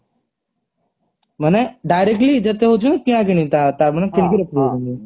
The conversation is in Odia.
ମାନେ directly ଯେତେ ହଉଛି କିଣା କିଣି